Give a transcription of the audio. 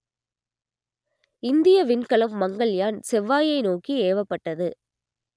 இந்திய விண்கலம் மங்கள்யான் செவ்வாயை நோக்கி ஏவப்பட்டது